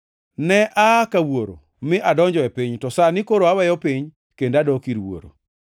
Ne aa ka Wuoro mi adonjo e piny, to sani koro aweyo piny kendo adok ir Wuoro.”